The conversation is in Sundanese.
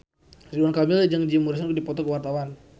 Ridwan Kamil jeung Jim Morrison keur dipoto ku wartawan